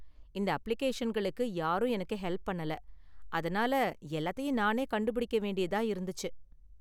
இந்த அப்ளிகேஷன்களுக்கு யாரும் எனக்கு ஹெல்ப் பண்ணல, அதனால எல்லாத்தையும் நானே கண்டுபிடிக்க வேண்டியதா இருந்துச்சு.